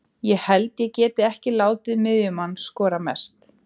Ég held ég geti ekki látið miðjumann skora mest.